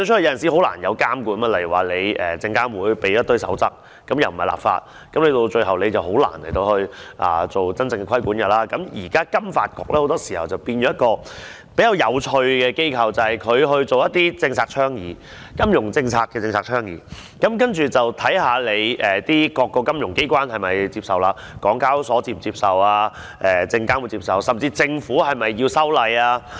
現時金融發展局彷彿變成了一間很有趣的機構，意思就是它負責進行一些政策倡議——金融政策的政策倡議——然後再看看各個金融機關是否接受，港交所是否接受？甚至政府是否要修例？